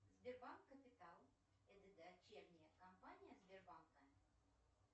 сбербанк капитал это дочерняя компания сбербанка